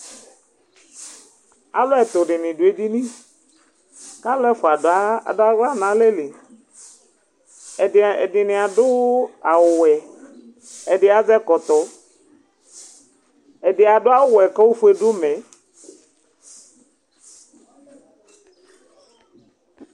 alu ɛtu dini du edini ku alu ɛfʋa adu aɣla nu alɛli, ɛdi, ɛdini adu awu wɛ, ɛdi azɛ ɛkɔtɔ, ɛdi adu awu wɛ ku ofue du umɛ